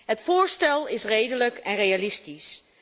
Het voorstel is redelijk en realistisch.